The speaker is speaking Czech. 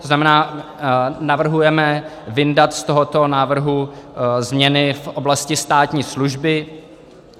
To znamená, navrhujeme vyndat z tohoto návrhu změny v oblasti státní služby.